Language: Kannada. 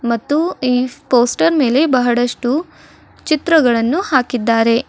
ಮತ್ತು ಈ ಪೋಸ್ಟರ್ ಮೇಲೆ ಬಹಳಷ್ಟು ಚಿತ್ರಗಳನ್ನು ಹಾಕಿದ್ದಾರೆ.